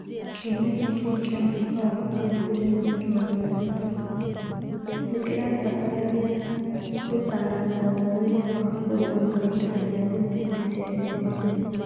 Kĩoneki kĩu kĩa mwaka wa ngiri igĩrĩ na mĩrongo ĩtatũ nĩ kĩrabatarania gũtaarana ũhoroinĩ wa kũrũnga indo cia mũthingi cia gĩthomo.